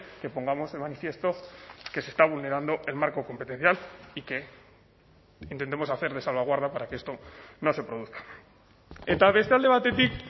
que pongamos de manifiesto que se está vulnerando el marco competencial y que intentemos hacer de salvaguarda para que esto no se produzca eta beste alde batetik